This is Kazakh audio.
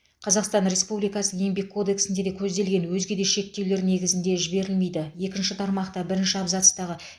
қазақстан республикасы еңбек кодексінде көзделген өзге де шектеулер негізінде жіберілмейді екінші тармақта бірінші абзацтағы